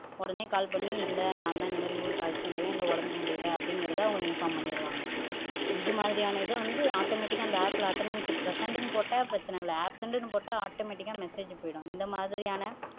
உடனே கால் பண்ணி இல்லை நான் தான் ஊருக்கு இந்த மாதிரி அழைச்சுட்டு வந்துருக்கேன் இல்லை உடம்புக்கு முடியலை அப்படிங்கிறதை அவங்க இன்பார்ம் பண்ணிருவாங்க இது மாதிரியான இது வந்து ஆட்டோமேட்டிக்கா அந்த ஆப்-ல அட்டனென்ஸ் பிரசென்ட்-னு போட்டா பிரச்சினை இல்ல ஆப்சென்ட்டுன்னு போட்டா ஆட்டோமேட்டிக்கா மெசேஜ் போயிரும் இந்த மாதிரியான